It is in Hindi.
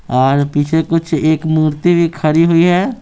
और पीछे कुछ एक मूर्ति भी खड़ी हुई है।